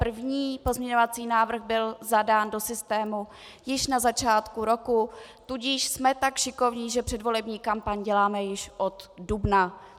První pozměňovací návrh byl zadán do systému již na začátku roku, tudíž jsme tak šikovní, že předvolební kampaň děláme již od dubna.